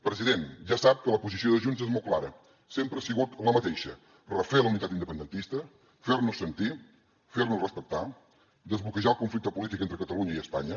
president ja sap que la posició de junts és molt clara sempre ha sigut la mateixa refer la unitat independentista fer nos sentir fer nos respectar desbloquejar el conflicte polític entre catalunya i espanya